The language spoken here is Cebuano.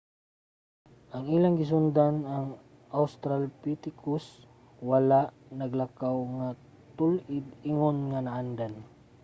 ang ilang gisundan ang australopithecus wala naglakaw nga tul-id ingon nga naandan